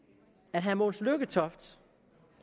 at herre mogens lykketoft